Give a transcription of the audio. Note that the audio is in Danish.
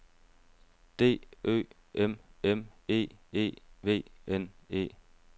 D Ø M M E E V N E